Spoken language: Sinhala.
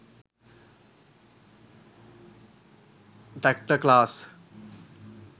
traktor class